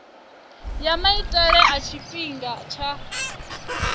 ya maitele a tshifhinga tsha